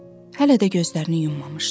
Hələ də gözlərini yummamışdı.